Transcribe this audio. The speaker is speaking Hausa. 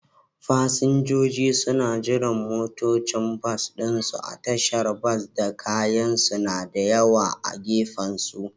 Fasinjoji suna jiran motocin bas ɗinsu a tashar bas, da kayansu na da yawa a gefensu.